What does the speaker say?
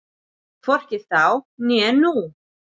Hvorki þá né nú.